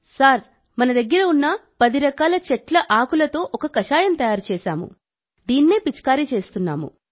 sir మన దగ్గర ఉన్న పది రకాల వృక్ష సంపద నుండి ఆర్గానిక్ స్ప్రే తయారుచేశాం